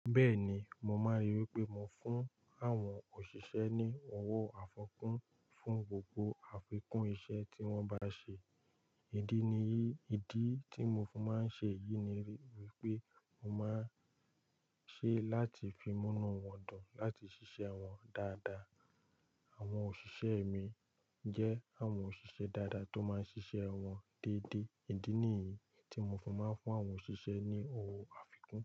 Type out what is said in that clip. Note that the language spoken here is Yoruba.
Bẹ́ẹ̀ni, mo máa ń rí wi pé mo fún àwọn òṣìṣẹ́ ní owó àfikún fún gbogbo àfikún iṣẹ́ tí wọ́n bá ṣe. Ìdí ní yìí, ìdí tí mo máa ń ṣe yìí ní pé mo máa ń ṣe láti fí múnú wọ́n dùn láti ṣiṣẹ́ wọn dáadáa. Àwọn òṣìṣẹ́ mi jẹ́ àwọn òṣìṣẹ́ dáadáa tó máa ń ṣiṣẹ́ wọn déédéé. Ìdí ní yìí tí mo fi máa ń fún àwọn òṣìṣẹ́ ní owó àfikún.